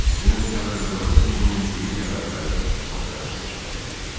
"Dünən teatrda Rossininin Sevilya Bərbəri operasını göstərirdilər.